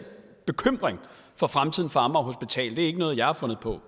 bekymring for fremtiden for amager hospital er ikke noget jeg har fundet på